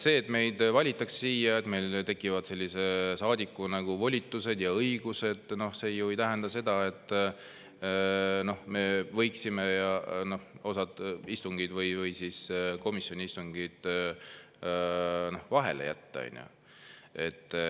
See, et meid valitakse siia, et meil tekivad saadiku volitused ja õigused, ju ei tähenda seda, et me võiksime osa istungeid või komisjoni istungeid vahele jätta.